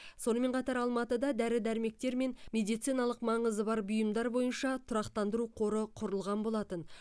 сонымен қатар алматыда дәрі дәрмектер мен медициналық маңызы бар бұйымдар бойынша тұрақтандыру қоры құрылған болатын